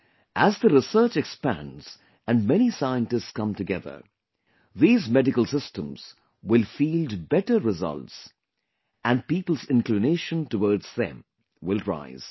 As the research expands and many scientists come together, these medical systems will field better results and people's inclination towards them will rise